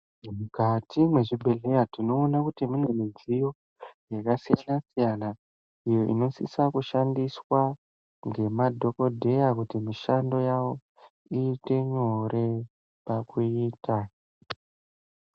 Mukati mwezvibhedhlera, tinoona kuti mune midziyo yakasiyana siyana, iyo inosise kushandiswa ngemadhokodheya kuti mishando yawo iite nyore pakuiita.